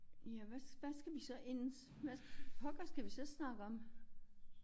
Ja hvad hvad skal vi så ellers hvad pokker skal vi så snakke om?